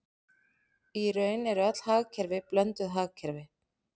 Í raun eru öll hagkerfi blönduð hagkerfi.